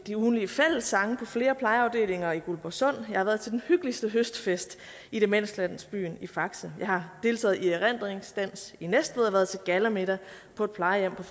til ugentlig fællessang på flere plejeafdelinger i guldborgsund jeg har været til den hyggeligste høstfest i demenslandsbyen i faxe jeg har deltaget i erindringsdans i næstved og været til gallamiddag på et plejehjem på